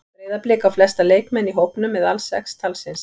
Breiðablik á flesta leikmenn í hópnum eða alls sex talsins.